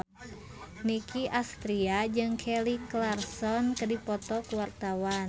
Nicky Astria jeung Kelly Clarkson keur dipoto ku wartawan